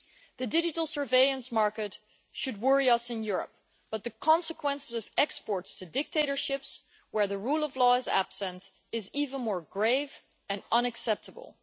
The digital surveillance market should worry us in Europe, but the consequences of exports to dictatorships where the rule of law is absent is even more grave and unacceptable.